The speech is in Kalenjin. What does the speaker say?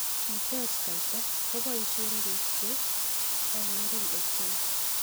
Kitech kaita koboishe koik che angeren ochei.